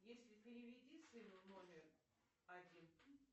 если переведи сыну номер один